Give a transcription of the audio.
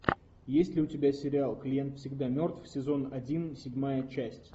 есть ли у тебя сериал клиент всегда мертв сезон один седьмая часть